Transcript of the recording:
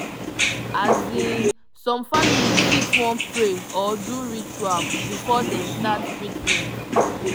azinn some families fit wan pray or do ritual before dem start treatment